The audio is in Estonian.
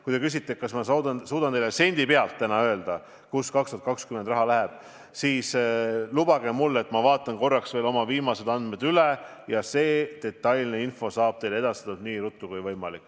Kui te küsite, kas ma suudan teile täna sendi täpsusega öelda, kuhu 2020. aastal raha läheb, siis lubage mul enne vaadata korraks veel oma viimased andmed üle ja detailne info saab teile edastatud nii ruttu kui võimalik.